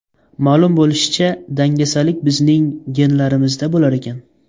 Ma’lum bo‘lishicha, dangasalik bizning genlarimizda bo‘lar ekan.